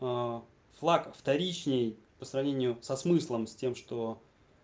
флаг вторичный по сравнению со смыслом с тем что